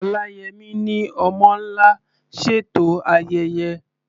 Oláyẹmí ni "Ọmọ́ Ńlá" ṣètò ayẹyẹ.